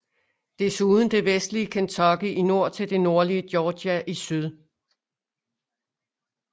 Desuden det vestlige Kentucky i nord til det nordlige Georgia i syd